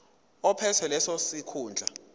ophethe leso sikhundla